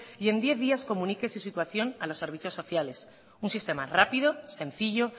y en diez días comunique su situación a los servicios sociales un sistema rápido sencillo